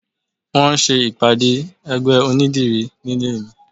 Wọn ń ṣe ìpàdé ẹgbẹ́ onídìrí nílé mi